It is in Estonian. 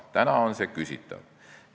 Praegu on see küsitav.